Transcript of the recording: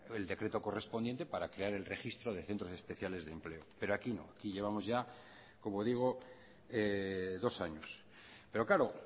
el decreto correspondiente para crear el registro de centros especiales de empleo pero aquí no aquí llevamos ya como digo dos años pero claro